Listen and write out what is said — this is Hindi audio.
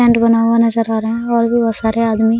टेंट बना हुआ नजर आ रहें हैं और भी बहुत सारे आदमी --